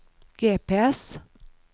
GPS